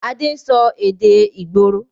Adé ń sọ èdè ìgboro